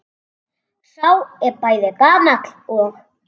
Sá er bæði gamall og.